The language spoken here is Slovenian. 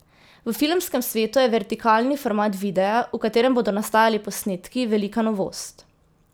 V filmskem svetu je vertikalni format videa, v katerem bodo nastajali posnetki, velika novost.